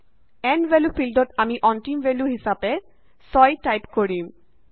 and value ফিল্ডত আমি অন্তিম ভেল্যু হিচাপে 6 টাইপ কৰিম